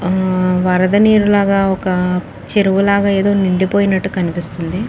ఆ వరద నీరులగా ఒక్కా చెరువులాగా ఏదో నిండిపోయునట్టు కనిపిస్తుంది.